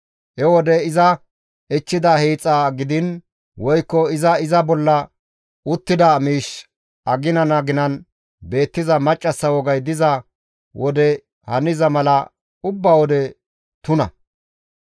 He wode iza ichchida hiixa gidiin woykko iza iza bolla uttida miishshi aginan aginan beettiza maccassa wogay diza wode haniza mala ubba wode tuna.